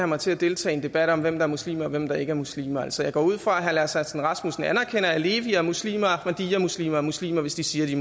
mig til at deltage i en debat om hvem der er muslim og hvem der ikke er muslim altså jeg går ud fra at herre lars aslan rasmussen anerkender at alevimuslimer og ahmadiyyamuslimer er muslimer hvis de siger de